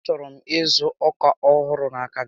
A chọrọ m ịzụ ọkà ọhụrụ n'aka gị